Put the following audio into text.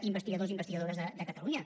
investigadors i investigadores de catalunya